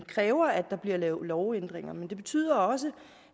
kræver at der bliver lavet lovændringer nu men det betyder også